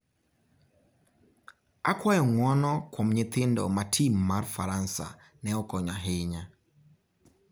Akwayo ng'uono kuom nyithindo ma tim mar Faransa ne okonyo ahinya